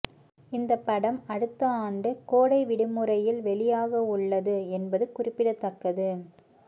இந்த படம் அடுத்த ஆண்டு கோடை விடுமுறையில் வெளியாகவுள்ளது என்பது குறிப்பிடத்தக்கது